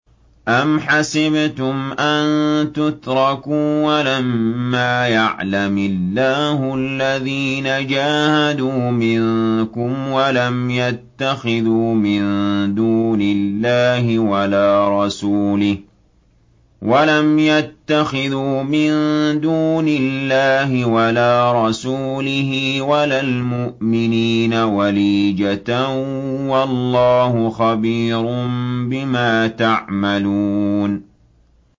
أَمْ حَسِبْتُمْ أَن تُتْرَكُوا وَلَمَّا يَعْلَمِ اللَّهُ الَّذِينَ جَاهَدُوا مِنكُمْ وَلَمْ يَتَّخِذُوا مِن دُونِ اللَّهِ وَلَا رَسُولِهِ وَلَا الْمُؤْمِنِينَ وَلِيجَةً ۚ وَاللَّهُ خَبِيرٌ بِمَا تَعْمَلُونَ